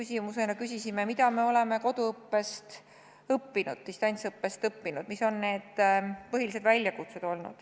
Esimesena küsisime, mida me oleme koduõppest, distantsõppest õppinud ja mis on olnud põhilised väljakutsed.